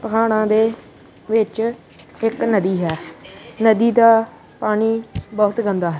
ਪਹਾੜਾਂ ਦੇ ਵਿੱਚ ਇੱਕ ਨਦੀ ਹੈ ਨਦੀ ਦਾ ਪਾਣੀ ਬਹੁਤ ਗੰਦਾ ਹੈ।